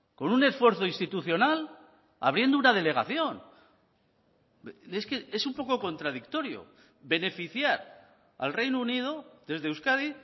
con un esfuerzo institucional abriendo una delegación es que es un poco contradictorio beneficiar al reino unido desde euskadi